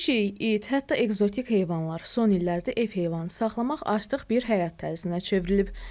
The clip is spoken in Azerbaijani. Pişik, it, hətta ekzotik heyvanlar son illərdə ev heyvanı saxlamaq artıq bir həyat tərzinə çevrilib.